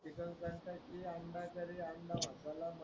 आंडा कारी आंडा मसाला